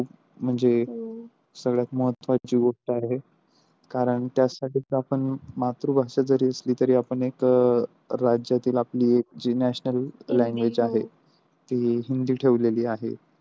म्हणजे सगळ्यात महत्वाची गोष्ट आहे कारण त्यासाठी आपण मातृभाषा जरी असली तरी आपण एक राज्यातील आपली एक जी national language आहे ती हिंदी ठेवली आहे.